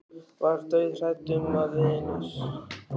Ég var dauðhrædd um að vinur